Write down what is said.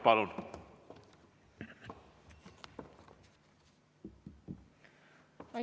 Palun!